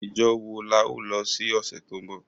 Ijo wo la o lo si ọ̀sẹ̀ to nbọ?